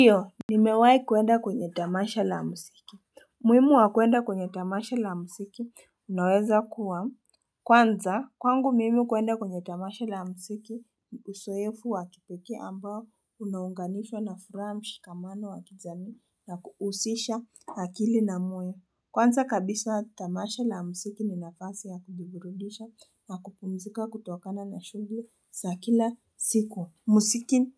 Ndiyo nimewahi kuenda kwenye tamasha la musiki. Muhimu wa kuenda kwenye tamasha la musiki unaweza kuwa, kwanza kwangu mimi kuenda kwenye tamasha la musiki Usoefu wa kipekee ambao unaunganishwa na furaha, mshikamano wa kijamii na kuhusisha akili na mwili. Kwanza kabisa tamasha la musiki ni nafisi ya kujiburudisha na kupumzika kutokana na shughuli za kila siku. Musiki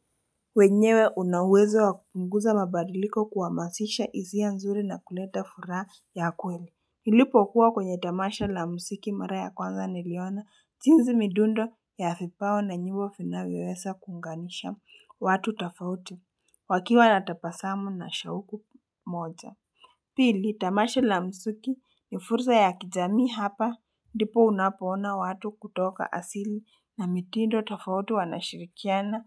wenyewe una uwezo wa kupunguza mabadiliko, kuhamasisha hisia nzuri na kuleta furaha ya kweli. Nilipokuwa kwenye tamasha la musiki mara ya kwanza niliona jinsi midundo ya vipawa na nyimbo vinavyoweza kuunganisha watu tafauti wakiwa na tabasamu na shauku moja. Pili, tamasha la musiki ni fursa ya kijamii, hapa ndipo unapoona watu kutoka asili na mitindo tofauti wanashirikiana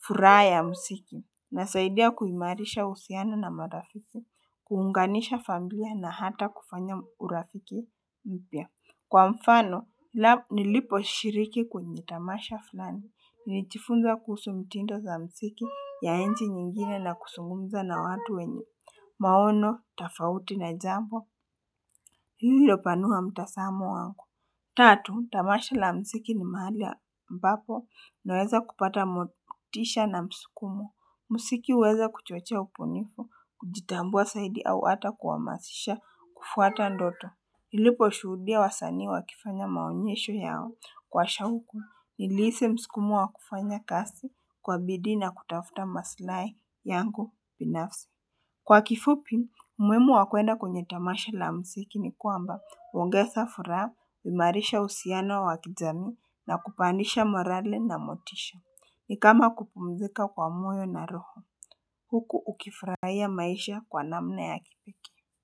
furaha ya msiki. Inasaidia kuimarisha uhusiano na marafiki, kuunganisha familia na hata kufanya urafiki mpya. Kwa mfano, niliposhiriki kwenye tamasha fulani, nilijifunza kuhusu mtindo za msiki ya nchi nyingine na kusungumza na watu wenye maono tafauti na jambo hilo panua mtasamo wangu. Tatu, tamasha la msiki ni mahali ambapo naweza kupata motisha na mskumo. Msiki huweza kuchochea ubunifu, kujitambua saidi au hata kuhamasisha kufuata ndoto. Niliposhuhudia wasanii wakifanya maonyesho yao kwa shauku. Nilihisi mskumo wa kufanya kazi kwa bidii na kutafuta maslahi yangu binafsi. Kwa kifupi umuhimu wa kuenda kwenye tamasha la msiki ni kwamba, huongeza furaha, huimarisha uhusiano wa kujamii na kupandisha morale na motisha. Ni kama kupumzika kwa moyo na roho. Huku ukifurahia maisha kwa namna ya kipekee.